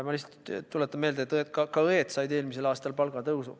Ma lihtsalt tuletan meelde, et ka õed said eelmisel aastal palgatõusu.